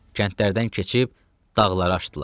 Kəndlərdən keçib dağları aşdılar.